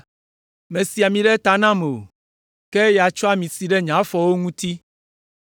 Mèsi ami ɖe ta nam o; ke eya tsɔ ami si ɖe nye afɔwo ŋuti.